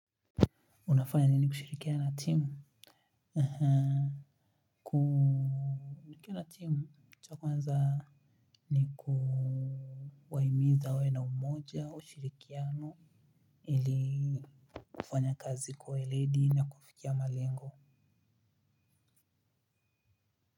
Unafanya nini kushirikiana na timu? Aha ku nikiwa la timu cha kwanza. Ni kuwahimiza wawe na umoja ushirikiano. Ili kufanya kazi kwa weledi na kufikia malengo.